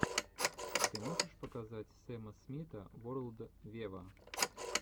ты можешь показать сэма смита ворлд вево